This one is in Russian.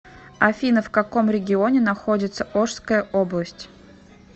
афина в каком регионе находится ошская область